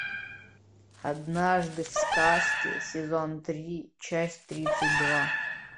однажды в сказке сезон три часть тридцать два